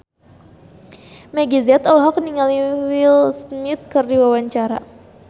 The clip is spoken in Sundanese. Meggie Z olohok ningali Will Smith keur diwawancara